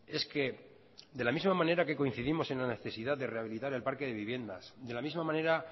es que de la misma manera que coincidimos en la necesidad de rehabilitar el parque de viviendas de la misma manera